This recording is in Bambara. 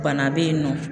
Bana be yen nɔ